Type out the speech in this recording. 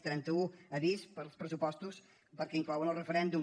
trenta u avís pels pressupostos perquè inclouen el referèndum